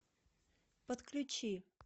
подключи